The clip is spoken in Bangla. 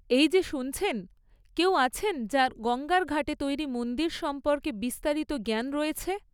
এই যে শুনছেন, কেউ আছেন যাঁর গঙ্গার ঘাটে তৈরি মন্দির সম্পর্কে বিস্তারিত জ্ঞান রয়েছে?